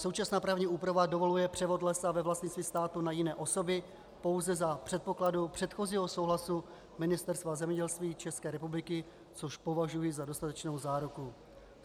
Současná právní úprava dovoluje převod lesa ve vlastnictví státu na jiné osoby pouze za předpokladu předchozího souhlasu Ministerstva zemědělství České republiky, což považuji za dostatečnou záruku.